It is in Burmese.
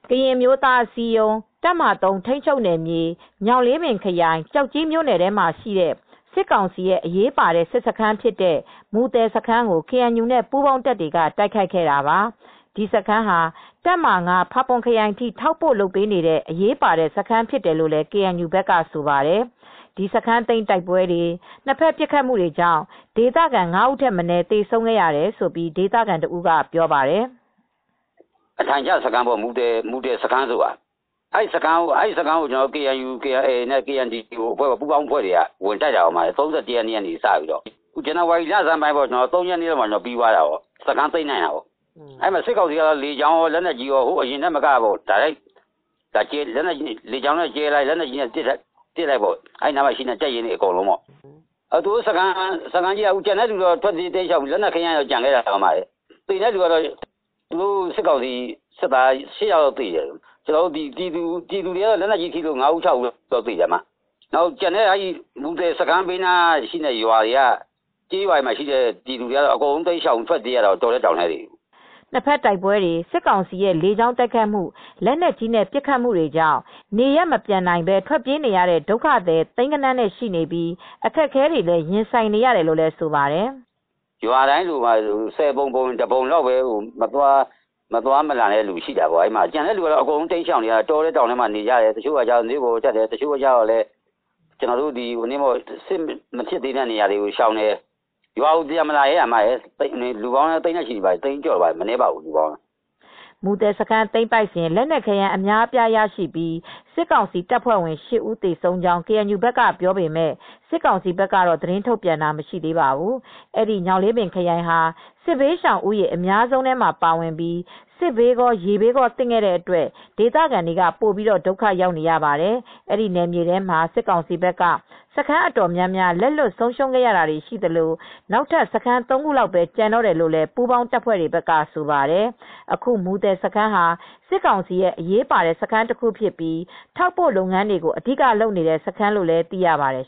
ကရင်အမျိုးသားအစည်းအရုံး တပ်မဟာ ၃ ထိန်းချုပ်နယ်မြေ ညောင်လေးပင်ခရိုင်၊ ကျောက်ကြီး မြို့နယ်ထဲမှာရှိတဲ့ စစ် ကောင်စီရဲ့ အရေးပါတဲ့ စစ်စခန်းဖြစ်တဲ့ မူသယ်စခန်းကို KNU နဲ့ ပူးပေါင်း တပ်တွေက တိုက်ခိုက်ခဲ့တာပါ။ ဒီစခန်းဟာ တပ်မဟာ ၅ ဖာပွန်ခရိုင်ထိ ထောက်ပို့လုပ်ပေးနေတဲ့ အရေးပါတဲ့ စခန်းဖြစ်တယ်လို့ ကေအန်ယူဘက်က ဆိုပါတယ်။ ဒီစခန်းသိမ်းတိုက်ပွဲ နှစ်ဖက်ပစ်ခတ်မှု တွေကြောင့် ဒေသခံငါးဦးထက်မနည်း သေဆုံးခဲ့ရတယ်လို့ ဒေသခံတဦးက ပြောပါတယ်။ “မူသယ်စခန်းဆိုတာ အထိုင်ချစခန်းပေါ့။ အဲဒီစခန်းကို KNU-KNDO-PDF ပူးပေါင်းတပ်တွေက ဝင်တိုက်လိုက်တာ ၃၁ ရက်နေ့ကစပြီး ဇန်နဝါရီလ ၃ ရက်နေ့လောက်က စခန်းသိမ်းနိုင်တာ။ စစ်ကောင်စီက လေကြောင်းကော၊ လက်နက်ကြီးကော၊ အရင်ကထက် ပိုပစ်တယ်။ လေကြောင်း ကနေဗုံးကြဲတာ၊ လက်နက်ကြီးနဲ့ပစ်တာတွေ အဲဒီနားက တပ်ရင်းအကုန်လုံးက ပစ်တယ်။ သူတို့ ထွက်ပြေးတော့ လက်နက်ခဲယမ်းတွေ ကျန်ခဲ့တာရှိတယ်။ သေတဲ့သူတွေက စစ်ကောင်စီ ၈ ယောက် လောက်သေတယ်။ ကျနော်တို့ ပြည်သူတွေထဲ့လည်း ၅ ဦး၊ ၆ ဦးလောက် သေတယ်။ မူသယ်စခန်း ဘေးက ကျေးရွာတွေက ပြည်သူတွေက အကုန်ထွက်ပြေးနေရတယ်။ နှစ်ဘက်တိုက်ပွဲတွေ စစ်ကောင်စီရဲ့လေကြောင်းတိုက်ခိုက်မှု၊ လက်နက်ကြီးနဲ့ပစ်ခတ်မှုတွေကြောင့် နေရပ်မပြန်နိုင်ဘဲ ထွက်ပြေးနေရတဲ့ဒုက္ခသည် သိန်းဂဏန်းနဲ့ရှိနေပြီး အခက်အခဲတွေ ရင်ဆိုင်နေရတယ်လို့လည်း ဆိုပါတယ်။ “ရွာထဲမှာ မတိမ်းမရှောင်နိုင်တဲ့သူတွေက.. ဆယ်ပုံတပုံလောက်ပဲကျန်တယ်။ ပြည်သူတွေက အကုန်တောထဲတောင်ထဲ ထွက်ပြေးတိမ်းရှောင်နေတယ်။ ကျန်တဲ့သူတွေအကုန် တိမ်းရှောင်တယ်။ တောထဲ တောင်ထဲနေတယ်၊ မြို့ပေါ်တက်တယ်၊ စစ်မဖြစ်သေးတဲ့နေရာကို ရွှေ့နေကြတယ်။ ရွာကို ပြန်မလာရဲကြဘူး အခုက။ ရွာတွေက လူတွေက သိန်းနဲ့ချီရှိပြီ မပြန်ရဲကြဘူး။” မူသယ်စခန်းသိမ်းပိုက်စဥ် လက်နက်ခဲယမ်း အများအပြားရရှိပြီး စစ်ကောင်စီတပ်ဖွဲ့ဝင် ၈ ဦး သေဆုံး ကြောင်း KNU ပြောပေမယ့် စစ်ကောင်စီဘက်က သတင်းထုတ်ပြန်တာ မရှိသေးပါဘူး။ ညောင်လေးပင် ခရိုင်ဟာ စစ်ဘေးရှောင်ဦးရေ အများဆုံးထဲမှာပါဝင်ပြီး စစ်ဘေးကော၊ ရေဘေးကောသင့်တဲ့အတွက် ဒေသခံတွေက ပိုပြီး ဒုက္ခရောက်နေရပါတယ်။ အဲဒီ နယ်မြေထဲမှာ စစ်ကောင်စီဘက်က စခန်းအတော်များများ လက်လွှတ်ဆုံးရှုံးရတာရှိသလို နောက်ထပ် စခန်းသုံးခုလောက်ပဲ ကျန်တော့တယ်လို့လည်း ပူးပေါင်းတပ်တွေဘက်က ဆိုပါတယ်။ အခု မူသယ်စခန်းဟာ စစ်ကောင်စီရဲ့အရေးပါတဲ့စခန်းတခုဖြစ်ပြီး ထောက်ပို့လုပ်ငန်းတွေကို အဓိကလုပ်နေတဲ့ စခန်းလို့လည်း သိရပါတယ်